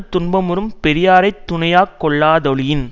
துன்பமுறும் பெரியாரை துணையாக கொள்ளாதொழியின்